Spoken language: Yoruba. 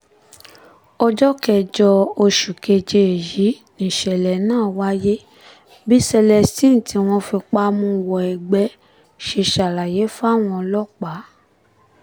ọjọ́ kẹjọ oṣù keje yìí nìṣẹ̀lẹ̀ náà wáyé bí celestine tí wọ́n fipá mú wọ ẹgbẹ́ ṣe ṣàlàyé fáwọn ọlọ́pàá